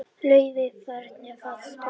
Laufey, hvernig er veðurspáin?